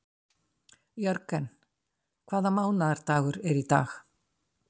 Jörgen, hvaða mánaðardagur er í dag?